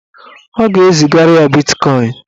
Ọ ga-ezigara ya bitkọin.